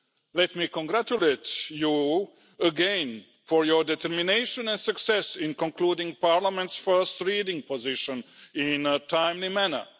Let me congratulate you again for your determination and success in concluding Parliament's first-reading position in a timely manner.